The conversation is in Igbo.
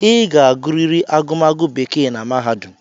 Ị ga-agụrịrị agụmagụ bekee na mahadum!